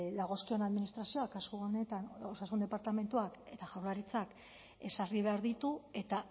dagozkion administrazioak kasu honetan osasun departamentuak eta jaurlaritzak ezarri behar ditu eta